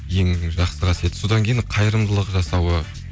ең жақсы қасиеті содан кейін қайырымдылық жасауы